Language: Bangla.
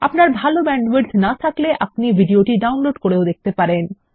আপনার ভাল ব্যান্ডউইডথ না থাকলে আপনি এটি ডাউনলোড করেও দেখতে পারেন